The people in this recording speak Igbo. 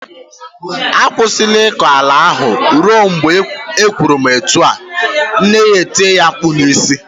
"Akwụsịla ịkọ ala ahụ ruo mgbe m kwuru etu ahụ, nne ya etie ya mkpu n'isi.